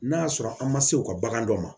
N'a y'a sɔrɔ an ma se u ka bagan dɔ ma